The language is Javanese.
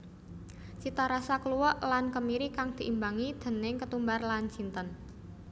Citarasa kluwek lan kemiri kang diimbangi déning ketumbar lan jinten